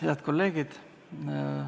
Head kolleegid!